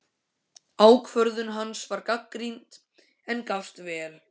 Ákvörðun hans var gagnrýnd, en gafst vel.